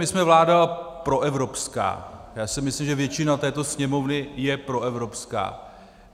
My jsme vláda proevropská, já si myslím, že většina této Sněmovny je proevropská.